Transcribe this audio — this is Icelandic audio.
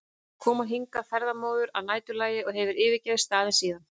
kom hann hingað ferðamóður að næturlagi og hefur ekki yfirgefið staðinn síðan.